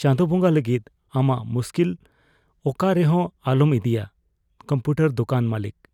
ᱪᱟᱸᱰᱚ ᱵᱚᱸᱜᱟ ᱞᱟᱹᱜᱤᱫ ᱟᱢᱟᱜ ᱢᱩᱥᱠᱤᱞ ᱚᱠᱟ ᱨᱮ ᱦᱚᱸ ᱟᱞᱚᱢ ᱤᱫᱤᱭᱟ ᱾ (ᱠᱚᱢᱯᱩᱴᱚᱨ ᱫᱚᱠᱟᱱ ᱢᱟᱹᱞᱤᱠ)